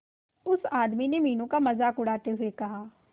उस आदमी ने मीनू का मजाक उड़ाते हुए कहा